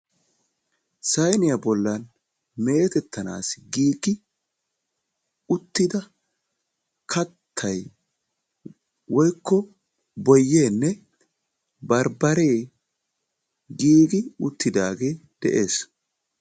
sayniyaa boollan meettetanassi giigi uttidaa kaattay woykko booyyeenne barbaree giigi uttidagee de"ees.